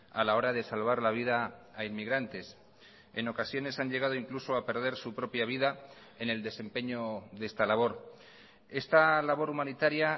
a la hora de salvar la vida a inmigrantes en ocasiones han llegado incluso a perder su propia vida en el desempeño de esta labor esta labor humanitaria